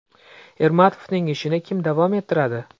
Ermatovning ishini kim davom ettiradi?